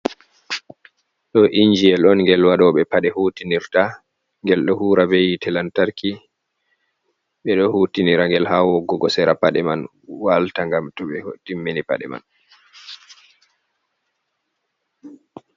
Ɗo injiyel on gel waɗooɓe paɗe hutinirta. Ngel ɗo huwira be yite lantarki. Ɓe ɗo hutinira ngel haa woggugo sera paɗe man walta ngam to ɓe timmini paɗe man.